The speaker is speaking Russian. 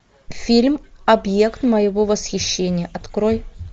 фильм объект моего восхищения открой